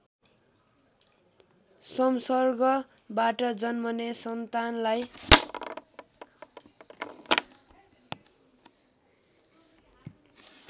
सम्सर्गबाट जन्मने सन्तानलाई